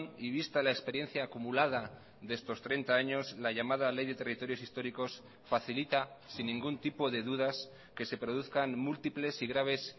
y vista la experiencia acumulada de estos treinta años la llamada ley de territorios históricos facilita sin ningún tipo de dudas que se produzcan múltiples y graves